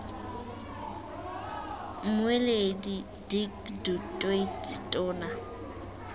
mmueledi dirk du toit tona